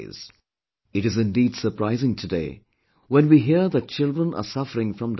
It is indeed surprising today, when we hear that children are suffering from diabetes